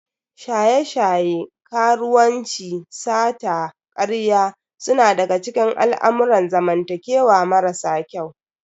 Shaye-shaye, karuwanci, sata, karya suna daga cikin al'amurran zamantakewa marasa kyau.